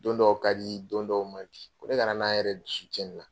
Don dɔw ka di don dɔw man di ko ne kana na n yɛrɛ dusu cɛn nin na.